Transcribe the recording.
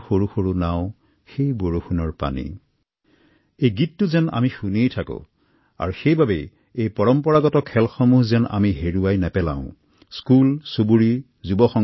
জনসাধাৰণৰ মাজত ইয়াক জনপ্ৰিয় কৰিবলৈ আমি বিভিন্ন পন্থা হাতত লব পাৰো